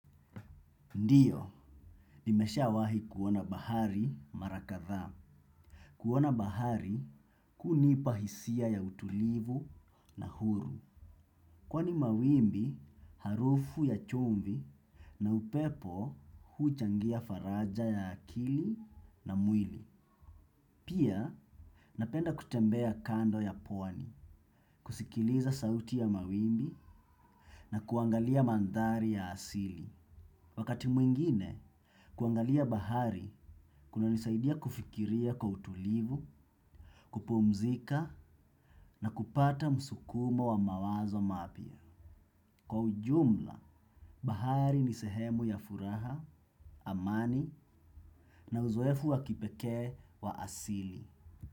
Ndiyo, nimeshawahi kuona bahari mara kadhaa. Kuona bahari hunipa hisia ya utulivu na huru. Kwani mawimbi, harufu ya chumvi na upepo huchangia faraja ya akili na mwili. Pia, napenda kutembea kando ya pwani, kusikiliza sauti ya mawimbi na kuangalia mandhari ya asili. Wakati mwingine, kuangalia bahari kuna nisaidia kufikiria kwa utulivu, kupumzika na kupata msukumo wa mawazo mapya. Kwa ujumla, bahari ni sehemu ya furaha, amani na uzoefu wa kipekee wa asili.